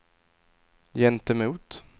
gentemot